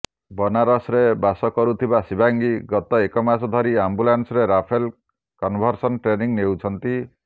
ବନାରସରେ ବାସ କରୁଥିବା ଶିବାଙ୍ଗୀ ଗତ ଏକ ମାସ ଧରି ଅମ୍ବାଲାରେ ରାଫେଲ୍ କନଭର୍ସନ ଟ୍ରେନିଂ ନେଉଛନ୍ତି